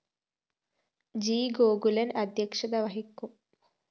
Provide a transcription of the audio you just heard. G Gokulan‍ അദ്ധ്യക്ഷത വഹിക്കും